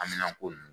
Amminanko n